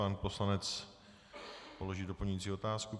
Pan poslanec položí doplňující otázku.